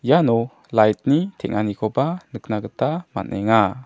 iano light-ni teng·anikoba nikna gita man·enga.